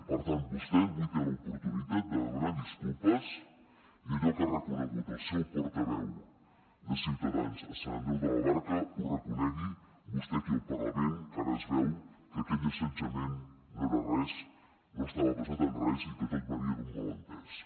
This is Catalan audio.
per tant vostè avui té l’oportunitat de demanar disculpes i que allò que ha reconegut el seu portaveu de ciutadans a sant andreu de la barca ho reconegui vostè aquí al parlament que ara es veu que aquell assetjament no era res no estava basat en res i que tot venia d’un malentès